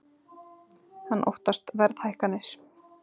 Hann óttast verðhækkanir